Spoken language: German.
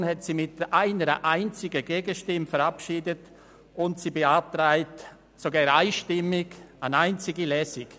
Die BiK hat es mit einer einzigen Gegenstimme verabschiedet und beantragt sogar einstimmig eine einzige Lesung.